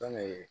Fɛnkɛ